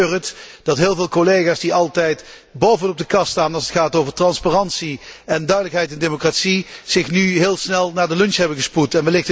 Want ik betreur het dat heel veel collega's die altijd bovenop de kast staan als het gaat over transparantie, duidelijkheid en democratie, zich nu heel snel naar de lunch hebben gespoed.